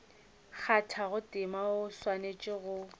kgathago tema o swanetše go